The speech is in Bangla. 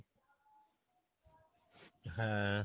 হ্যাঁ